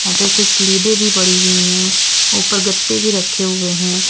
यहां पे कुछ लीडे भी पड़ी हुई हैं ऊपर गत्ते भी रखे हुए हैं।